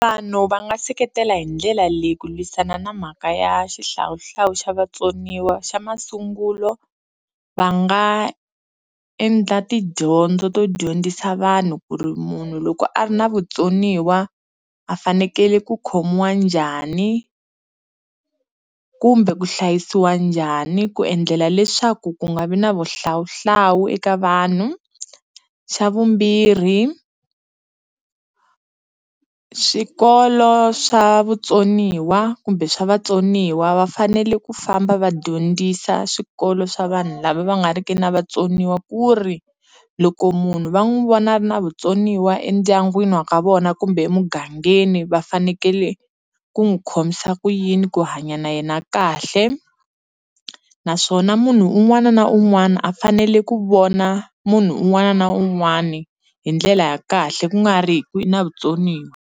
Vanhu va nga seketela hi ndlela leyi ku lwisana na mhaka ya xihlawuhlawu xa vatsoniwa xa masungulo va nga endla tidyondzo to dyondzisa vanhu ku ri munhu loko a ri na vutsoniwa a fanekele ku khomiwa njhani kumbe ku hlayisiwa njhani ku endlela leswaku ku nga vi na vuhlawuhlawu eka vanhu, xa vumbirhi swikolo swa vutsoniwa kumbe swa vatsoniwa va fanele ku famba va dyondzisa swikolo swa vanhu lava va nga ri ki na vatsoniwa ku ri loko munhu va n'wi vona na vutsoniwa endyangwini wa ka vona kumbe emugangeni va fanekele ku n'wi khomisa kuyini ku hanya na yena kahle naswona munhu un'wana na un'wana a fanele ku vona munhu un'wana na un'wani hi ndlela ya kahle ku nga ri hi ku u na vutsoniwa.